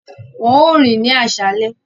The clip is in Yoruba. Wọn óò rìn ní aṣálẹ̀